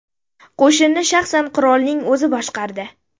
Qo‘shinni shaxsan qirolning o‘zi boshqardi.